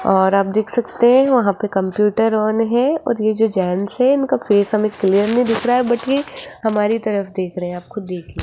और आप देख सकते हैं वहां पे कंप्यूटर ऑन है और ये जो जेंट्स है इनका फेस हमें क्लियर नहीं दिख रहा है बट ये हमारी तरफ देख रहे हैं आप खुद देखिए।